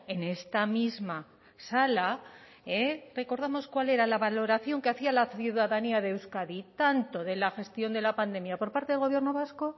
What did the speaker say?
en esta misma sala recordamos cuál era la valoración que hacía la ciudadanía de euskadi tanto de la gestión de la pandemia por parte del gobierno vasco